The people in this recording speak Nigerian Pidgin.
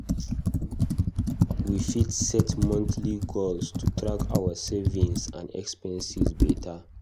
We fit set monthly goals to track our savings and expenses beta.